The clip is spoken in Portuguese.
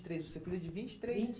três, você cuida de vinte e três. Vinte